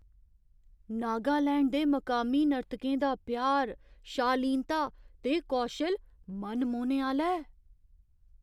नागालैंड दे मकामी नर्तकें दा प्यार, शालीनता ते कौशल मनमोह्ने आह्‌ला ऐ।